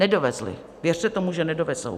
Nedovezli, věřte tomu, že nedovezou.